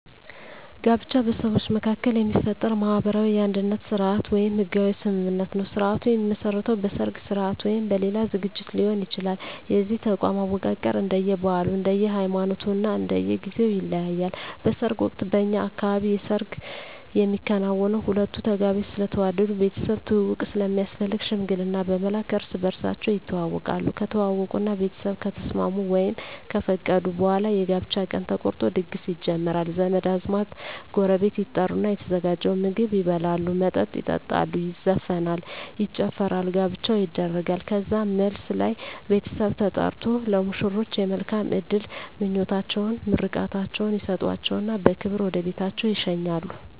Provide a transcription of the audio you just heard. ጋብቻ በሰዎች መካከል የሚፈጠር ማህበራዊ የአንድነት ስርአት ወይም ህጋዊ ስምምነት ነዉ ስርአቱ የሚመሰረተዉ በሰርግ ስርአት ወይም በሌላ ዝግጅት ሊሆን ይችላል የዚህ ተቋም አወቃቀር እንደየ ባህሉ እንደየ ሃይማኖቱ እና እንደየ ጊዜዉ ይለያያል በሰርግ ወቅት በእኛ አካባቢ የሰርግ የሚከናወነዉ ሁለቱ ተጋቢዎች ስለተዋደዱ ቤተሰብ ትዉዉቅ ስለሚያስፈልግ ሽምግልና በመላክ እርስ በርሳቸዉ ይተዋወቃሉ ከተዋወቁእና ቤተሰብ ከተስማሙ ወይም ከፈቀዱ በኋላ የጋብቻ ቀን ተቆርጦ ድግስ ይጀመራል ዘመድ አዝማድ ጎረቤት ይጠሩና የተዘጋጀዉን ምግብ ይበላሉ መጠጥ ይጠጣሉ ይዘፈናል ይጨፈራል ጋብቻዉ ይደረጋል ከዛም መልስ ላይ ቤተሰብ ተጠርቆ ለሙሽሮች የመልካም እድል ምኞታቸዉን ምርቃታቸዉን ይሰጧቸዉና በክብር ወደ ቤታቸዉ ይሸኛሉ